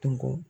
Tun ko